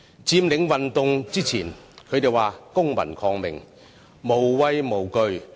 在佔領運動前，他們說公民抗命，無畏無懼。